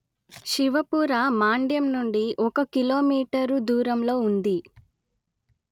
శివపుర మాండ్యం నుండి ఒక కిలోమీటరు దూరంలో ఉంది